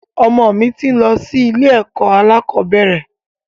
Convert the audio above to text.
Ọmọ mi ti ń lọ sí ilé ẹ̀kọ́ alakọ̀bẹ́ẹ́rẹ̀